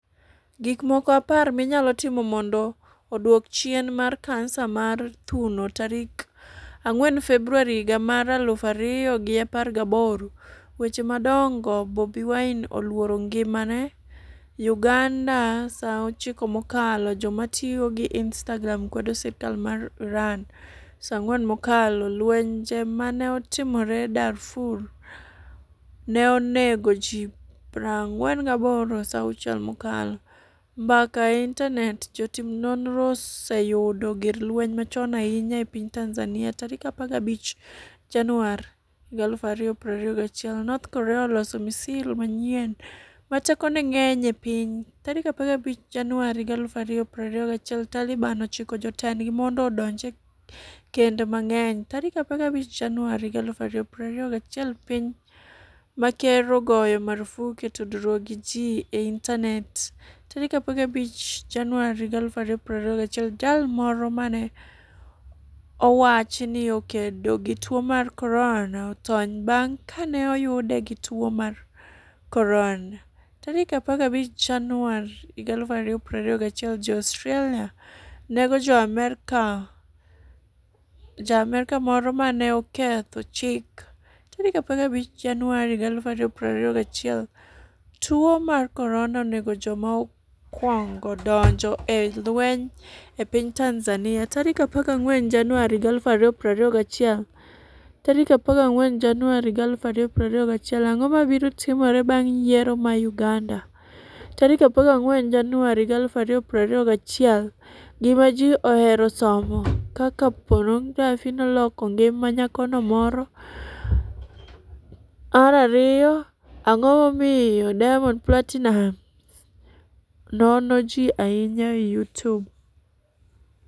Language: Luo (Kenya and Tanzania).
Gikmoko apar minyalo timo mondo odwok chien tuo mar kansa mar thuno tarik ang'wen Februar higa mar aluf ariyo gi apar gaboro Weche madongo Bobi Wine 'oluoro ngimane' UgandaSa 9 mokalo Joma tiyo gi Instagram kwedo sirkal mar IranSa 4 mokalo Lwenje ma ne otimore Darfur ne onego ji 48Sa 6 mokalo Mbaka e IntanetJotim nonro oseyudo gir lweny machon ahinya e piny TanzaniaSa 15 Januar, 2021 North Korea oloso misil manyien 'ma tekone ng'eny e piny'Sa 15 Januar, 2021 Taliban chiko jotendgi mondo odonj e kend mang'enySa 15 Januar, 2021 Piny ma ker ogoyo marfuk e tudruok gi ji e intanetSa 15 Januar, 2021 Jal moro ma ne owach ni 'okedo gi tuo mar corona' otony bang' ka ne oyude gi tuo mar koronaSa 15 Januar, 2021 Jo-Australia nego Ja-Amerka moro ma ne oketho chikSa 15 Januar, 2021 Tuwo mar Korona onego joma okwongo donjo e lweny e piny TanzaniaSa 14 Januar, 2021 14 Januar 2021 Ang'o mabiro timore bang' yiero mar Uganda? 14 Januar 2021 Gima Ji Ohero Somo 1 Kaka Ponografi Noloko Ngima Nyako Moro 2 Ang'o Momiyo Diamond Platinumz Nono Ji Ahinya e Youtube?